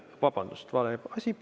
Vabandust, vale rida oli.